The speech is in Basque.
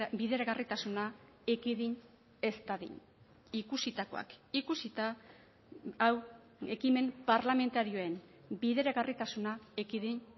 bideragarritasuna ekidin ez dadin ikusitakoak ikusita hau ekimen parlamentarioen bideragarritasuna ekidin